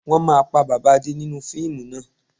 Wọn máa pa bàbà Adé nínú fíìmù náà